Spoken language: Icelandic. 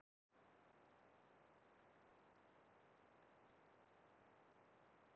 Rök fyrir þeirri kenningu að risaeðlur hafi verið með misheitt blóð.